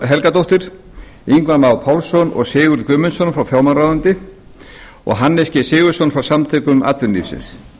helgadóttur ingva má pálsson og sigurð guðmundsson frá fjármálaráðuneyti og hannes g sigurðsson frá samtökum atvinnulífsins